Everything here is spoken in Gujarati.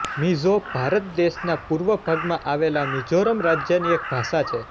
મિઝો ભારત દેશના પૂર્વ ભાગમાં આવેલા મિઝોરમ રાજ્યની એક ભાષા છે